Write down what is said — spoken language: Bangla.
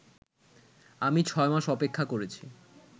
আমি ছয় মাস অপেক্ষা করেছি